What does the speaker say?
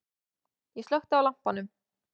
Ég slökkti á lampanum.